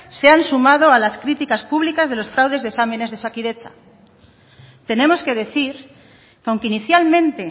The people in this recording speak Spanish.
se han sumado a las críticas públicas de los fraudes de exámenes de osakidetza tenemos que decir aunque inicialmente